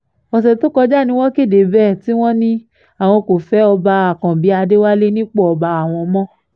ọ̀sẹ̀ tó kọjá ni wọ́n kéde bẹ́ẹ̀ tí wọ́n ní àwọn kò fẹ́ ọba àkànbí adéwálé nípò ọba àwọn mọ́